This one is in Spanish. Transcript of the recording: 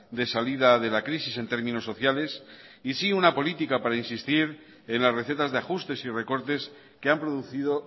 de salida de la crisis en términos sociales y sí una política para insistir en las recetas de ajustes y recortes que han producido